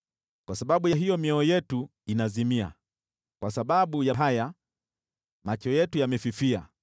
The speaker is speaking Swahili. Kwa sababu hiyo, mioyo yetu inazimia, kwa sababu ya hayo, macho yetu yamefifia,